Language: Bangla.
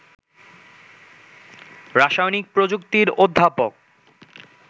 রাসায়নিক প্রযুক্তির অধ্যাপক